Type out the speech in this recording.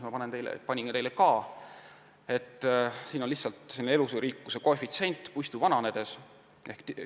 Näitan teile ka üht joonist elurikkuse kohta, siin on kujutatud mullaseente elurikkuse ja puistu vanuse vahelist seost.